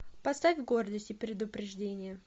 поставь гордость и предупреждение